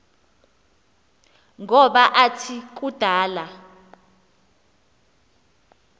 ngoba athi kudala